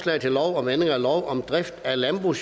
eller imod